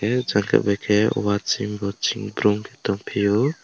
oh jaga bai khe uaching uaching brum khe tongphio.